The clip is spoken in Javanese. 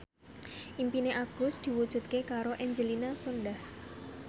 impine Agus diwujudke karo Angelina Sondakh